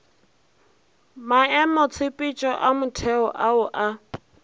maemotshepetšo a motheo ao a